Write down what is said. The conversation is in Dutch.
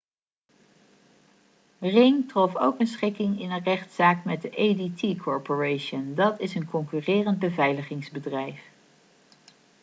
ring trof ook een schikking in een rechtszaak met de adt corporation dat is een concurrerend beveiligingsbedrijf